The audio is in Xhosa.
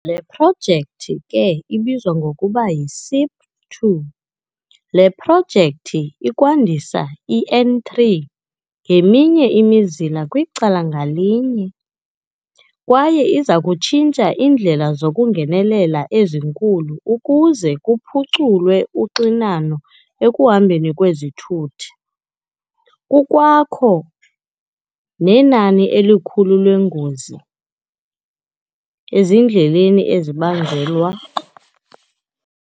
Le projekthi ke ibizwa ngokuba yi-SIP2. Le projekthi izakwandisa i-N3 ngeminye imizila kwicala ngalinye. Kwaye izakutshintsha iindlela zokungenelela ezinkulu ukuze kuphuculwe uxinano ekuhambeni kwezithuthi. Kukwakho nenani elikhulu leengozi ezindleleni ezibangelwa.